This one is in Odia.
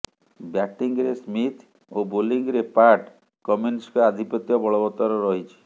ବ୍ୟାଟିଂରେ ସ୍ମିଥ୍ ଓ ବୋଲିଂରେ ପାଟ୍ କମିନ୍ସଙ୍କ ଆଧିପତ୍ୟ ବଳବତ୍ତର ରହିଛି